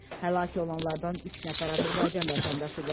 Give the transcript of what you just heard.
Həlak olanlardan üç nəfər Azərbaycan vətəndaşıdır.